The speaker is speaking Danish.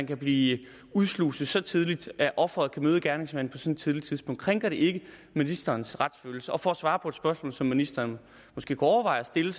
kan blive udsluset så tidligt at ofret kan møde gerningsmanden på et så tidligt tidspunkt krænker det ikke ministerens retsfølelse og for at svare på et spørgsmål som ministeren måske kunne overveje at stille